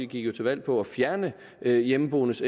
gik jo til valg på at fjerne hjemmeboendes